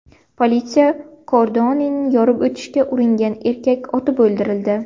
Politsiya kordonini yorib o‘tishga uringan erkak otib o‘ldirildi.